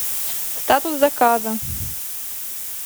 статус заказа